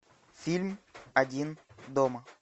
фильм один дома